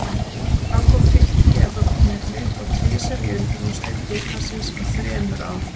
Hann kom Fylki í evrópukeppni og tvisvar í undanúrslit bikarsins á þremur árum??